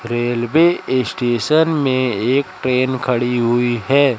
Railway station में एक train खड़ी हुई है।